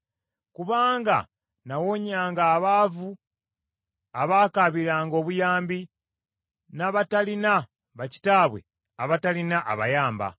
kubanga nawonyanga abaavu abaakaabiranga obuyambi, n’abatalina bakitaabwe abatalina abayamba.